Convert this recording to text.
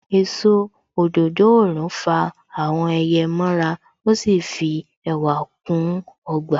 Èso òdòdó òrùn fa àwọn ẹyẹ mọ ra. Ó sì fi ẹwà kún ọgbà.